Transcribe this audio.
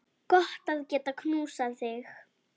Gott að geta knúsað þig.